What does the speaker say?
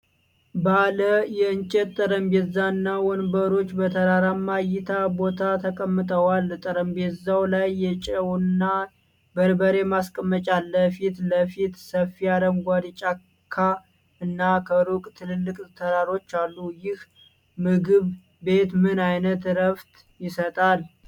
ባለ የእንጨት ጠረጴዛ እና ወንበሮች በተራራማ እይታ ቦታ ተቀምጠዋል። ጠረጴዛው ላይ የጨውና በርበሬ ማስቀመጫ አለ። ፊት ለፊት ሰፊ አረንጓዴ ጫካ እና ከሩቅ ትላልቅ ተራሮች አሉ። ይህ ምግብ ቤት ምን አይነት ዕረፍት ይሰጣል?